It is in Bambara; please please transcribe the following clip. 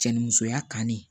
Cɛ ni musoya kanu